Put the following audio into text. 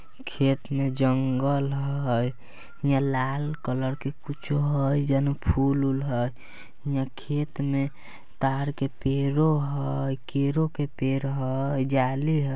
खेत में जंगल हय हीया लाल कलर के कुछो हय जेना फूल-उल हय हीया खेत में तार के पेड़ो हेय केरो के पेड़ हय जाली ह --